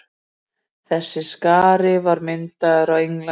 Þessi stari var myndaður á Englandi.